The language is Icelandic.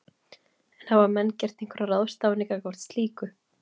En hafa menn gert einhverjar ráðstafanir gagnvart slíku?